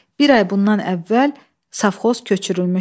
Bir ay bundan əvvəl safxoz köçürülmüşdü.